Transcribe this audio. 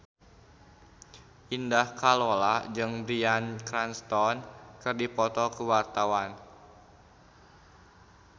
Indah Kalalo jeung Bryan Cranston keur dipoto ku wartawan